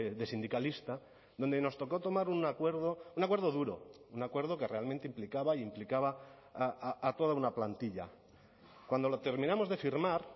de sindicalista donde nos tocó tomar un acuerdo un acuerdo duro un acuerdo que realmente implicaba e implicaba a toda una plantilla cuando lo terminamos de firmar